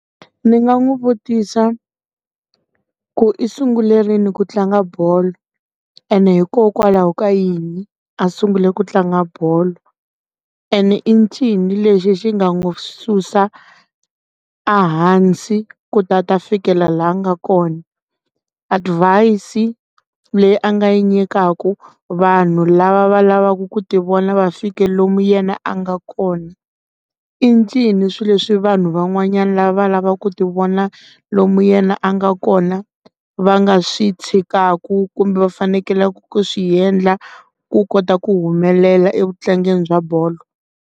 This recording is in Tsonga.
Ni nga n'wi vutisa ku i sungule rini ku tlanga bolo ene hikokwalaho ka yini a sungule ku tlanga bolo and i ncini lexi xi nga n'wi susa a hansi ku ta ta fikelela laha nga kona advise leyi a nga yi nyikaku vanhu lava va lavaku ku ti vona va fike lomu yena a nga kona incini swilo leswi vanhu van'wanyana lava lavaku ti vona lomu yena a nga kona va nga swi tshikaku kumbe va fanekelaka swiendla ku kota ku humelela evu tlangeni bya bolo.